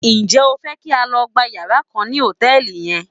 Ǹjẹ́ o fẹ́ kí a lọ gba yàrá kan ní hòtẹ́ẹ̀lì yẹn?